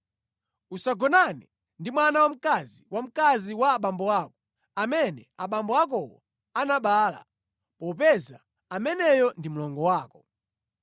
“ ‘Usagonane ndi mwana wamkazi wa mkazi wa abambo ako, amene abambo akowo anabereka; popeza ameneyo ndi mlongo wako.